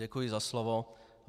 Děkuji za slovo.